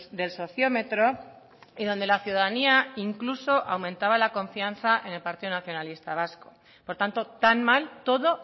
del sociómetro y donde la ciudadanía incluso aumentaba la confianza en el partido nacionalista vasco por tanto tan mal todo